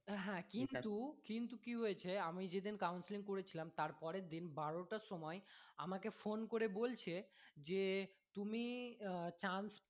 হ্যাঁ কিন্তু কিন্তু কি হয়েছে আমি যেদিন counselling করেছিলাম তার পরের দিন বারো টার সময় আমাকে phone করে বলছে যে তুমি আহ chance